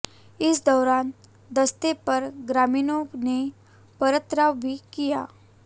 इस दौरान दस्ते पर ग्रामीणों ने पथराव भी किया